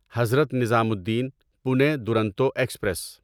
Hazrat Nizamuddin Pune Duronto express